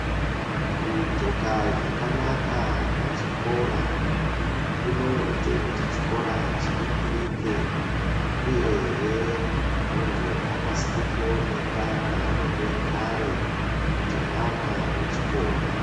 Kudxoka zvakanaka pachikora kunoita kuti chikora chinengirike, uyehe kuti muntu akasike kuoneka paanenge ari kuti mwana wechikora.